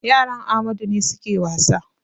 Yaran Amadu ne suke wasa.